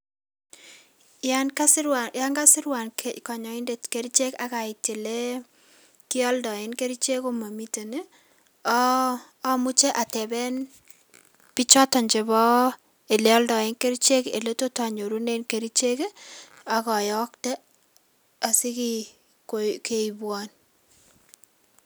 Yan kasirwan konyoindet kerichek ii ak ait ole kyoldoen kerichek komomiten ii, omuche ateben ele oldoen kerichek ole tot onyorunen kerichek ii ak oyokte asipit keibwon